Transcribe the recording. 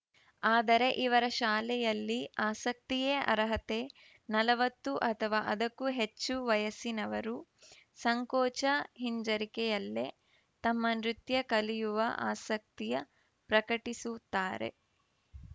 ಆದರೆ ಇವರ ಶಾಲೆಯಲ್ಲಿ ಆಸಕ್ತಿಯೇ ಅರ್ಹತೆ ನಲವತ್ತು ಅಥವಾ ಅದಕ್ಕೂ ಹೆಚ್ಚು ವಯಸ್ಸಿನವರು ಸಂಕೋಚ ಹಿಂಜರಿಕೆಯಲ್ಲೇ ತಮ್ಮ ನೃತ್ಯ ಕಲಿಯುವ ಆಸಕ್ತಿಯ ಪ್ರಕಟಿಸುತ್ತಾರೆ